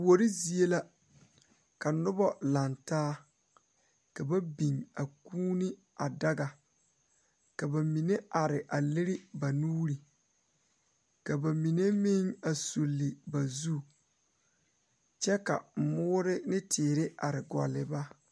Kori Zie la ka ba biŋ kūūne daga ka bamine are leri ba nuure ka bamine meŋ sule ba zu kyɛ ka moɔre ne teere are gɔgle ba.